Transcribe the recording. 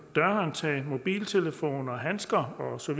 dørhåndtag mobiltelefoner handsker osv og